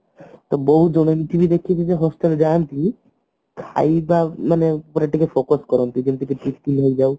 ତ ବହୁତ ଜଣ ଏମତି ଦେଖିଛି ଯେ hostel ଯାଆନ୍ତି ଖାଇବା ମାନେ ଉପରେ ଟିକେ focus କରନ୍ତି ଯେମତିକି ହେଇଯାଉ